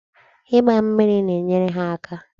Ịgba mmiri na-enyere ha aka.